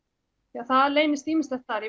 því það leynist ýmislegt þar